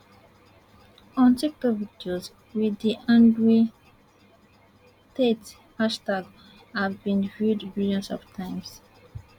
on tiktok videos with the andrew tate hashtag have been viewed billions of times